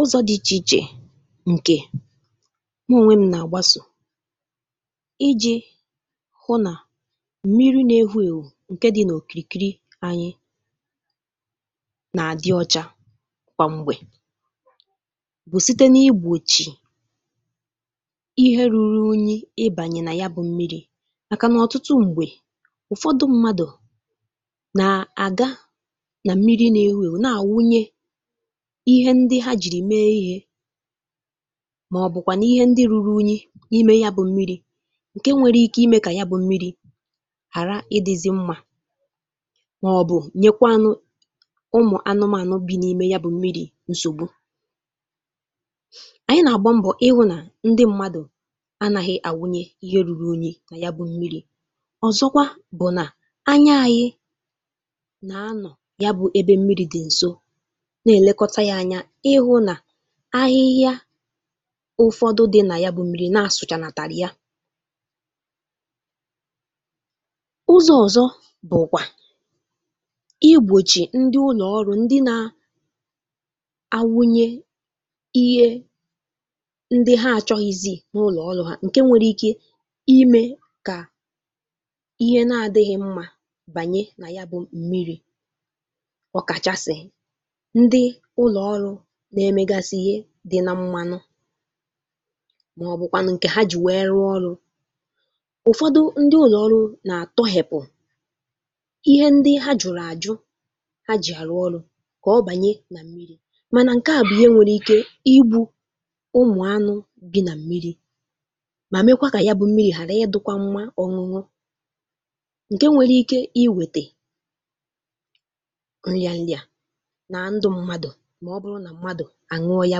Ụzọ̇ dị̇ ichè-ichè ǹkè mụ ònwe m nà-àgbasò iji̇ hụ nà m̀miri ǹkè dị n’òkìkiri anyị nà-àdị ọcha kwa m̀gbè, bụ̀ site n’ìgbòchì ihe ruru unyi ịbànyì nà ya bụ̇ m̀miri, màkà nà ọ̀tụtụ m̀gbè ụ̀fọdụ, mmadụ̀ nà-àga nà m̀miri na ànwụnye ihe ndị ha jìrì mee ihe, màọ̀bụ̀ kwànụ̀ ihe ndị ruru unyi n’ime ya bụ̀ m̀miri, ǹkè nwere ike ime kà ya bụ̀ m̀miri̇ ghàra ịdịzị mmȧ, màọbụ̀ nyekwanụ̇ ụmụ̀ anụmȧnụ bi̇ n’ime ya bụ̀ m̀miri nsògbu. Ànyị nà-àgba mbọ̀ ịhụ nà ndị mmadụ̀ anaghị àwụnye ihe ruru unyi̇ nà ya bụ̀ m̀miri. Ọ̀zọkwa, bụ̀ nà anya anyị nà-anọ̀ ya bụ̀ ebe m̀miri̇ dị̀ ǹzọ, nà-elekọtà ya anya ịhụ nà ahịhịa ụ̀fọdụ dị nà ya bụ̀ m̀miri na-asụcha nà tara ya. Ụzọ ọzọ bụkwa igbochi ndị ụlọ ọrụ, ndị na-ànwụnye ihe ha na-achọghịzị na ụlọ ọrụ ha, nke nwere ike ime ka ihe adịghị mmà banye nà ya bụ̀ m̀miri, ọ̀kà kachasị ndị ụlọ ọrụ ndị na-emegasị ihe dị na mmȧnụ, màọ̀bụ̀kwanụ ǹkè ha jì nwee rụọ ọrụ̇. Ụ̀fọdụ ndị ụlọ ọrụ nà-àtọhepụ̀ ihe ndị ha jùrù àjụ ha jì àrụ ọrụ̇ kà ọ bànye nà m̀miri̇, mànà ǹkè a bụ̀ ihe nwèrè ike igbu̇ ụmụ̀ anụ̇ dị nà m̀miri̇, mà mekwa kà ya bụ̀ m̀miri̇ hàrà idịkwa mmȧ ọṅụṅụ ǹkè nwèrè ike inwete nrià-nrià nà ndụ̇ mmadụ̀ ma ọ̀ bụrụ nà mmadụ̇ ànuo ya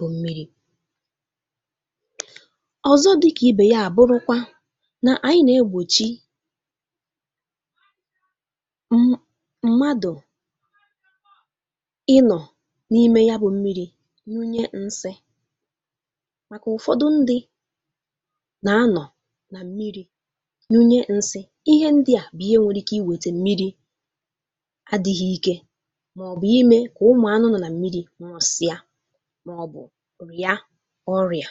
bụ̀ m̀miri. Ọ̀zọ dị̇kà ibè ya, àbụrụkwa nà ànyị nà-egbòchi um mmadụ̇ ìnọ n’ime ya bụ̀ m̀miri nùye nsí, màkà ụ̀fọdụ ndị nà-anọ nà m̀miri nùye nsí. Ihe ǹdí à bụ̀ ihe nwere ike ime kà m̀miri ghara ịdị ike, màọ̀bụ̀ ime kà ụmụ̀ anụ nà-ànọ nà m̀miri nwùsịa, màọ̀bụ̀ rịa ọrịa.